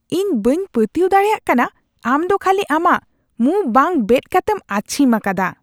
ᱤᱧ ᱵᱟᱹᱧ ᱯᱟᱹᱛᱭᱟᱹᱣ ᱫᱟᱲᱮᱭᱟᱜ ᱠᱟᱱᱟ ᱟᱢᱫᱚ ᱠᱷᱟᱹᱞᱤ ᱟᱢᱟᱜ ᱢᱩᱸ ᱵᱟᱝ ᱵᱮᱫ ᱠᱟᱛᱮᱢ ᱟᱹᱪᱷᱤᱢ ᱟᱠᱟᱫᱟ ᱾